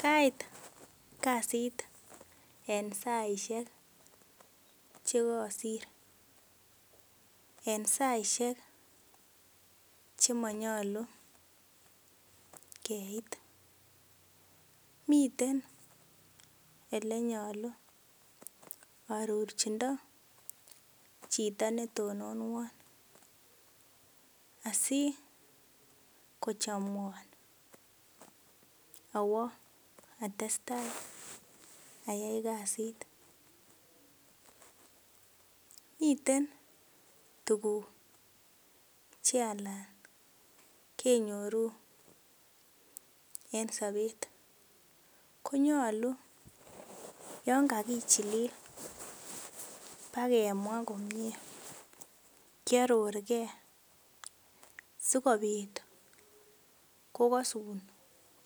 Kait kasit en saishek chekasir en saishek chemanyalu Keit miten elenyalu arorchindo Chito netononwan asikochamwan away atestai ayai kasit miten tuguk chealan kenyoru en Sabet konyalu yangagichilil bagemwaa komie kyaror gei sikobit kokasun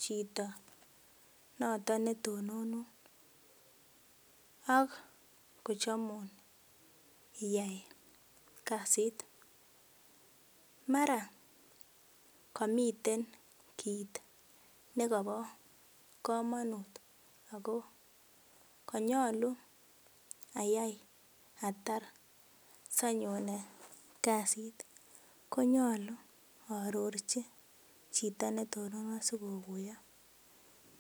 Chito noton netononun 1ak kochamun iyai kasit mara kamiten kit nekaba kamanut ako kanyalu ayai atar sanyonen kasit konyalu arorchi Chito netononwan sikokuyo